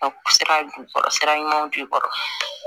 Sira jukɔrɔ sira ɲuman b'i kɔrɔ